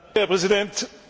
Herr Präsident!